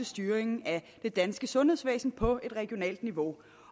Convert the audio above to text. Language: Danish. styringen af det danske sundhedsvæsen på et regionalt niveau